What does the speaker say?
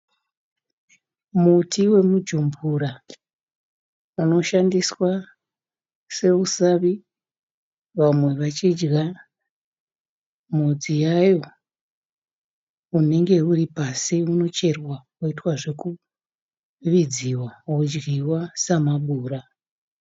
Muti wemujumbura unoshandiswa seusavi vamwe vachidya mhodzi yayo. Unenge uripasi. Unoitwa zvekucherwa wovidziwa wodyiwa semabura.